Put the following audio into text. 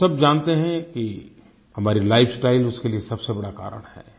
हम सब जानते हैं कि हमारी लाइफ स्टाइल उसके लिए सबसे बड़ा कारण है